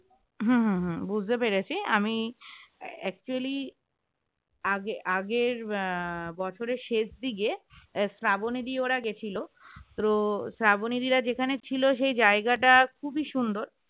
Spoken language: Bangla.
হম হম হম বুঝতে পেরেছি আমি actually আগে আগের আহ বছরের শেষ দিকে শ্রাবণী ওরা গেছিল তো শ্রাবণীরা যেখানে ছিল সেই জায়গাটা খুবই সুন্দর